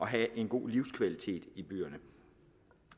have en god livskvalitet i byerne